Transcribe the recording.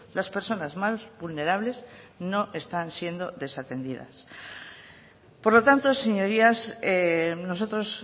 las personas más vulnerables no están siendo desatendidas por lo tanto señorías nosotros